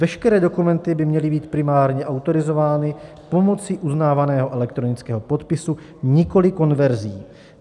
Veškeré dokumenty by měly být primárně autorizovány pomocí uznávaného elektronického podpisu, nikoliv konverzí.